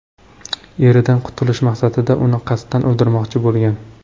eridan qutulish maqsadida, uni qasddan o‘ldirmoqchi bo‘lgan.